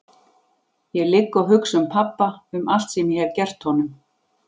Ég ligg og hugsa um pabba, um allt sem ég hef gert honum.